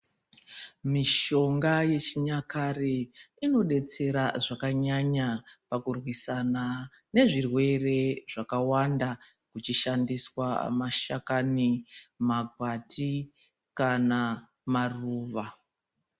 Mishonga yechinyakare inodetsera zvakanyanya pakurwisana nezvirwere zvakawanda kuchishandiswa mashakani, makwati kana maruva.